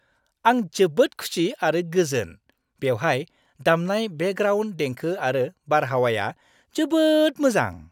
आं जोबोद खुसि आरो गोजोन, बेवहाय दामनाय बेकग्राउन्ड देंखो आरो बारहावाया जोबोद मोजां!